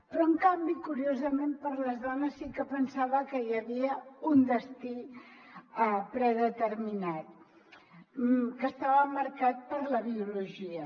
però en canvi curiosament per a les dones sí que pensava que hi havia un destí predeterminat que estava marcat per la biologia